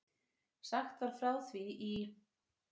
Sagt var frá því í